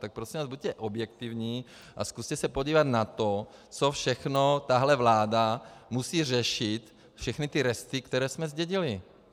Tak prosím vás buďte objektivní a zkuste se podívat na to, co všechno tahle vláda musí řešit, všechny ty resty, které jsme zdědili.